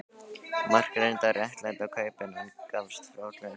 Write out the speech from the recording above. Mark reyndi að réttlæta kaupin en gafst fljótlega upp.